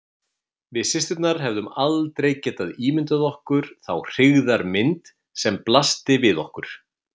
Við systurnar hefðum aldrei getað ímyndað okkur þá hryggðarmynd sem blasti við okkur.